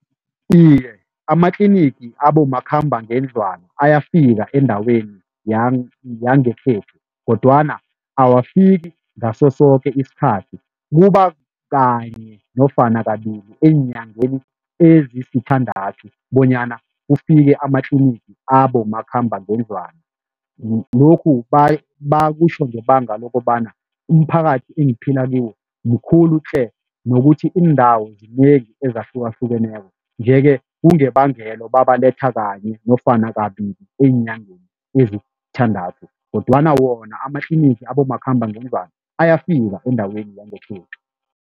Iye, amatlinigi abomakhambangendlwana ayafika endaweni yangekhethu kodwana awafiki ngaso soke isikhathi kuba kanye nofana kabili eenyangeni ezisithandathu bonyana kufike amatlinigi abomakhambangendlwana lokhu bakutjho ngebanga lokobana umphakathi engiphila kiwo mkhulu tle nokuthi iindawo ezahlukahlukeneko nje-ke, kungebangelo babalethe kanye nofana kabili eenyangeni ezisithandathu kodwana wona amatlinigi abomakhambangendlwana ayafika endaweni yangekhethu.